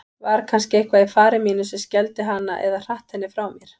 Var kannski eitthvað í fari mínu sem skelfdi hana eða hratt henni frá mér?